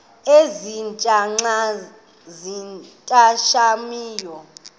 ezintia xa zincathamayo